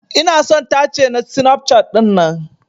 Ina son tace na Snapchat dinnan.